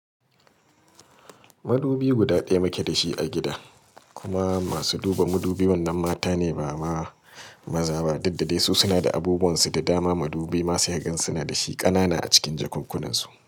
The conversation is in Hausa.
Madubi guda daya muke da shi a gida kuma masu duba madubi wannan mata ne ba maza ba, dudda dai su suna da abubunsu da dama. Madubi ma sai gansu suna da shi kanana a cikin jakunkunansu.